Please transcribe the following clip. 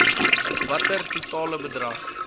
watter totale bedrag